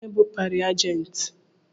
Kedụ onye bụ pari ajenti?